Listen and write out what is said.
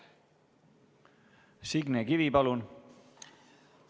Signe Kivi, palun!